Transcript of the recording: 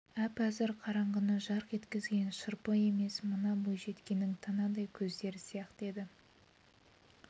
әп-әзір қараңғыны жарқ еткізген шырпы емес мына бойжеткеннің танадай көздері сияқты еді